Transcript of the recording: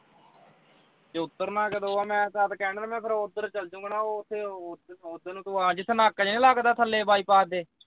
ਜੇ ਉਤਰਨਾ ਕਦੋਂ ਆ ਮੈਂ ਤਦ ਕਹਿ ਰਿਹਾ ਮੈਂ ਫਿਰ ਉਧਰ ਚਲ ਜਾਊਂਗਾ ਨਾ ਉਥੇ ਉਧਰ ਨੂੰ ਤੂੰ ਜਿਥੇ ਨਾਕਾ ਜਾ ਨੀ ਲੱਗਦਾ ਥੱਲੇ ਬਾਈਪਾਸ ਤੇ